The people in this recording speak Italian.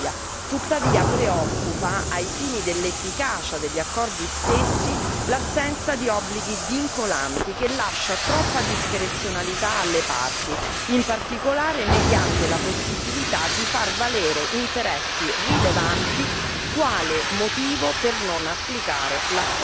Tuttavia, preoccupa ai fini dell'efficacia degli accordi stessi, l'assenza di obblighi vincolanti, che lascia troppa discrezionalità alle parti, in particolare mediante la possibilità di far valere interessi rilevanti quale motivo per non applicare l'accordo.